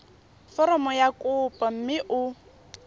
foromo ya kopo mme o